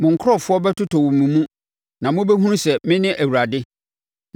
Mo nkurɔfoɔ bɛtotɔ wɔ mo mu, na mobɛhunu sɛ me ne Awurade.